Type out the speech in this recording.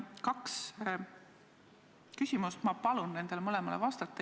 Mul on kaks küsimust, ma palun nendele mõlemale vastata.